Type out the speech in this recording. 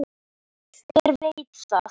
Hver veit það?